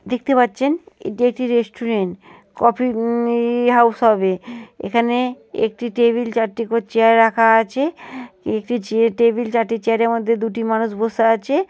দেখতে পাচ্ছেন এটি একটি রেস্টুরেন্ট । কফি ই ওম হাউস হবে। এখানে একটি টেবিল চারটে চেয়ার রাখা আছে। একটি টেবিল চারটি চেয়ার -এর মধ্যে দুটি মানুষ বসে আছে।